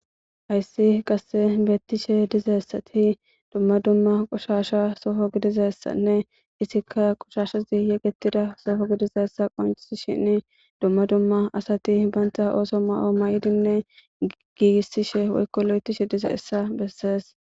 Hayssi qasse beettishe dizessati dumma dumma qushasha sofo gidizessanne isikka qushashazi yegetida sofo gidizessa qoncisi shin dumma dumma asati baynta ooso ma7o may7idinne giigissishe woykko lo7etishe dize essa bessees.